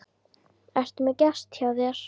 Ertu með gest hjá þér